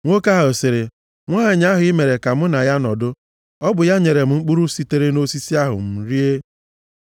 Nwoke ahụ sịrị, “Nwanyị ahụ i mere ka mụ na ya nọdụ, ọ bụ ya nyere m mkpụrụ sitere nʼosisi ahụ, m rie.”